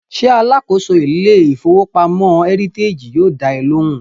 Ṣé alákòóso ilé ìfowópamọ́ Heritage yóò dá ẹ lóhùn?